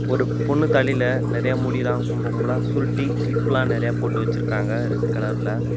ஒரு பொண்ணு தலையில நெறைய முடி எல்லாம் கும்ப கும்பலா சுருட்டி கிளிப்லாம் நெறைய போட்டு வச்சிருக்காங்க ரெட் கலர்ல .